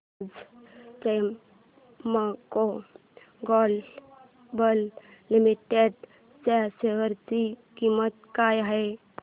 आज Premco global limited च्या share ची किंमत काय आहे